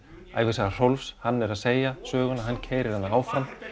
ævisaga Rolf hann er að segja söguna hann keyrir hana áfram